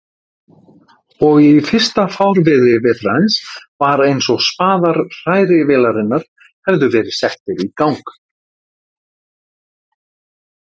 Og í fyrsta fárviðri vetrarins var einsog spaðar hrærivélarinnar hefðu verið settir í gang.